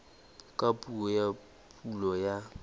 ka puo ya pulo ya